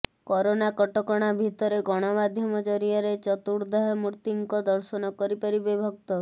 corona କଟକଣା ଭିତରେ ଗଣମାଧ୍ୟମ ଜରିଆରେ ଚତୁର୍ଦ୍ଧାମୂର୍ତ୍ତିଙ୍କ ଦର୍ଶନ କରିପାରିବେ ଭକ୍ତ